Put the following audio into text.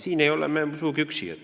Siin ei ole me sugugi üksi.